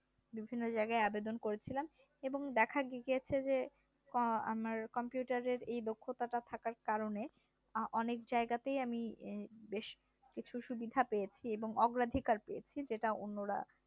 বিভিন্ন জায়গায় আবেদন করেছিলাম এবং দেখা গিয়েছে যে আমার computer এই দক্ষতা টা থাকার কারণে অনেক জায়গাতেই আমি বেশকিছু সুবিধা পেয়েছি এবং অগ্রাধিকার পেয়েছি যেটা অন্যরা